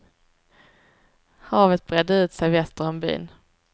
Havet bredde ut sig väster om byn.